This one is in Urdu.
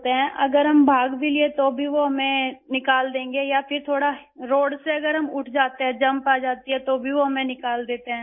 اگر ہم بھاگ بھی لیے تو بھی وہ ہمیں نکال دیں گے یا اگر ہم سڑک سے تھوڑا سا بھی اٹھ جاتے ہیں ، جمپ آ جاتی ہے تو بھی وہ ہمیں نکال دیتے ہیں